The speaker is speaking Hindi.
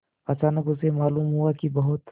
अचानक उसे मालूम हुआ कि बहुत